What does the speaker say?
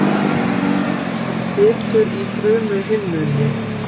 Það situr í frumuhimnunni.